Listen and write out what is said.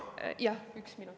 Jah, üks minut.